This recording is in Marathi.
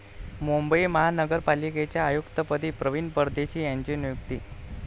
मुंबई महानगरपालिकेच्या आयुक्तपदी प्रवीण परदेशी यांची नियुक्ती